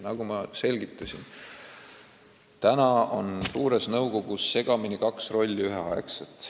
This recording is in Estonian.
Nagu ma selgitasin, praegu on suures nõukogus segamini kaks rolli ühel ajal.